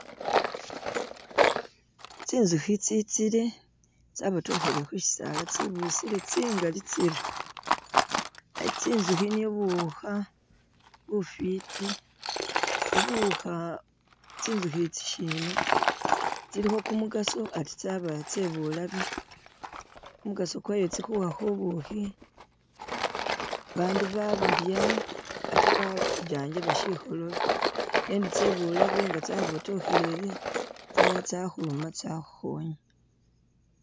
Tsinzukhi tsitsile tsabotokhelele khusisaala tsibusile tsingaali tsiri, tsinzukhi nibwo buwuukha bufiti, buwukha tsinzukhi i'tsi shina tsilimo kumugaso ate tsaba tse bulabe, kumugaso kwayo tsikhuwa bubuukhi babandu babulya ate ba bajanjaba shikhololo nendi tsebulabe nga tsakhubotokhelele tsinyaala tsakhuluma tsakhuluma tsakhukhonya